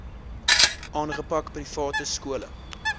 aangepak private skole